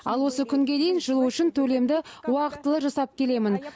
ал осы күнге дейін жылу үшін төлемді уақытылы жасап келемін